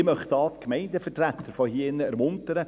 Ich möchte die Gemeindevertreter hier drin ermuntern: